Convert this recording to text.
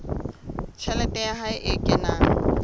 tjhelete ya hae e kenang